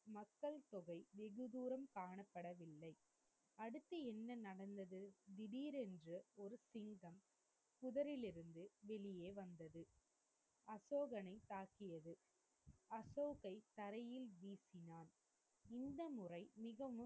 அடுத்து என்ன நடந்தது? திடிரென்று ஒரு சிங்கம் புதரிலிருந்து வெளியே வந்தது. அசோகனை தாக்கியது. அசோகை தரையில் வீசினான். இந்த முறை மிகவும்,